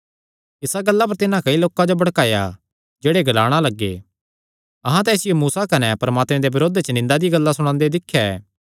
इसा गल्ला पर तिन्हां कई लोकां जो भड़काया जेह्ड़े ग्लाणा लग्गे अहां तां इसियो मूसा कने परमात्मे दे बरोध च निंदा दी गल्लां ग्लांदे सुणेया ऐ